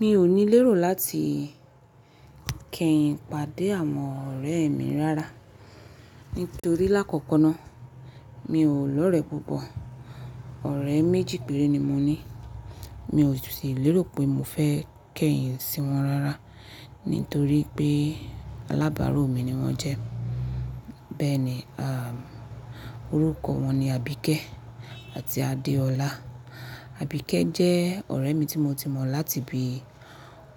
Mi ò ní lérò láti kẹ́yìn pàdé àwọn ọ̀rẹ́ mi rara. Nítorí lákọ̀kọ̀ náà mi ò lọ̀rẹ́ púpọ̀. Ọ̀rẹ́ méjì péré ni mo ní. Mi ò su sì lérò pé mo fẹ kẹ́yìn sí wọn rara, nítorí pé alábárò mi ni wọ́n jẹ́. Bẹ́ẹ̀ni, à, orúkọ wọn ni Abíkẹ́ àti Adeọlá. Abíkẹ́ jẹ́ ọ̀rẹ́ mi tí mo ti mọ̀ láti bi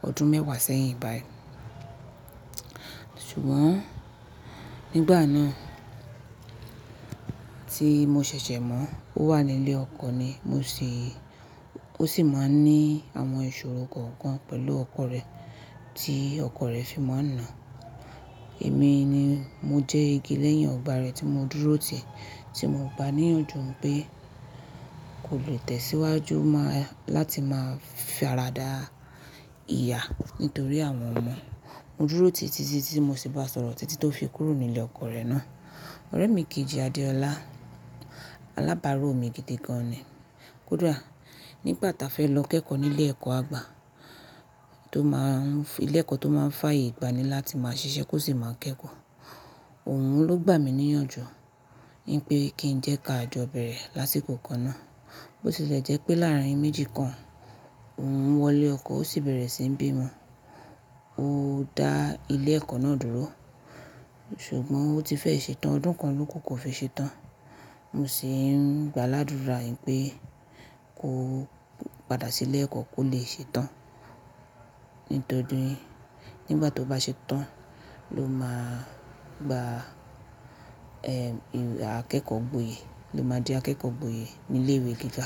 ọdún mẹ́wàá sẹ́yìn báyìí. Ṣùgbọ́n nígbà náà tí mo ṣẹ̀ṣẹ̀ mọ̀ ó wà ní ilé ọkọ ni mo sì. Ó sì máa ń ní àwọn ìṣòro kọ̀ọ̀kan pẹ̀lú ọkọ rẹ̀ tí ọkọ rẹ̀ fi máa ń nà án. Èmi ni mo jẹ́ igi lẹ́yìn ọgbà rẹ̀ tí mo dúró tì, tí mo gba níyànjú pé kò lè tẹ̀síwájú mọ́ láti máa farada ìyà nítorí àwọn ọmọ. Mo dúró tìtìtì tí mo sì bá sọ̀rọ̀ títí tó fi kúrò nílé ọkọ rẹ̀ náà. Ọ̀rẹ́ mi kejì, Adeọlá, alábárò mi gidi gan ni. Kódà nígbà ta fẹ́ lọ kẹ́kọ̀ọ́ nílé ẹ̀kọ́ àgbà tó máa ń-- ilé ẹ̀kọ́ tó máa ń fàyè gbani láti máa ṣiṣẹ́ kó sì máa kẹ́kọ̀ọ́. Òun ló gbà mí níyànjú nipé kí n jẹ́ ká jọ bẹ̀rẹ̀ lásìkò kan náà. Ó sì ṣẹlẹ̀ jẹ́ pé láàárín méjì kan òun wọlé ọkọ, ó sì bẹ̀rẹ̀ síi ń bí ọmọ. Ó dá ilé ẹ̀kọ́ náà dúró, ṣùgbọ́n ó ti fẹ́ ṣetán ọdún kan lóko kò fi ṣetán. Mo sì ń gba ládùrá pé kó padà sílé ẹ̀kọ́ kó lè ṣetán. Nítorí nígbà tó bá ṣetán ló máa gba, ẹ, akẹ́kọ̀ọ́ gboyè. Ó máa di akẹ́kọ̀ọ́ gboyè ní ilé ìwé gíga.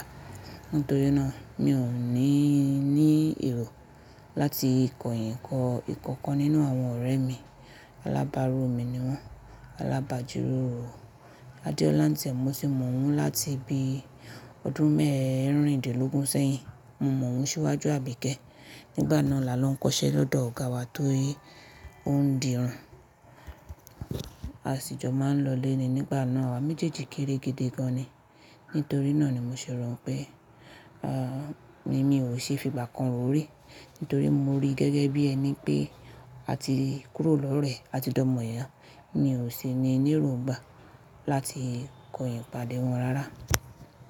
Nítorí náà mi ò ní ní èrò láti kọ̀yìn kọ́ ìkọ̀kan nínú àwọn ọ̀rẹ́ mi. Alábárò mi ni wọ́n. Alábàájù ro. Adeọlá ńtẹ̀ mo sì mọ̀ ọ́n láti bi ọdún mẹ́ẹ̀rìndínlógún sẹ́yìn. Mo mọ̀ ọ́n síwájú Abíkẹ́. Nígbà náà là lọ ń kọṣẹ́ lọ́dọ̀ ọ̀gá wa torí ó ń dirun. A sì jọ máa ń lọlé ni nígbà náà. Àwa méjèèjì kéré gidi gan ni. Nítorí náà ni mo ṣèrọ̀ pé, à, emi ò ṣe fi ìbákan ro rí. Nítorí mo rí gẹ́gẹ́ bí ẹni pé a ti kúrò lọ́rẹ́, a ti dọ́mọ ìyá. Mi ò sì ní léròògbà láti kọ̀yìn pàdé wọn rara.